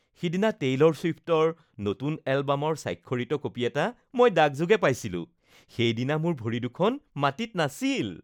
যিদিনা টেইলৰ চুইফটৰ নতুন এলবামৰ স্বাক্ষৰিত কপি এটা মই ডাকযোগে পাইছিলোঁ, সেইদিনা মোৰ ভৰি দুখন মাটিত নাছিল।